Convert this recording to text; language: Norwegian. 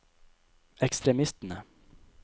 ekstremistene